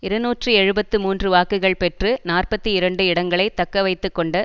இருநூற்றி எழுபத்து மூன்று வாக்குகள் பெற்று நாற்பத்தி இரண்டு இடங்களை தக்கவைத்துக்கொண்ட